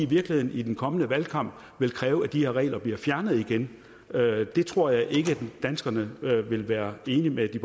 virkeligheden i den kommende valgkamp vil kræve at de her regler bliver fjernet igen det tror jeg ikke danskerne vil være enige med de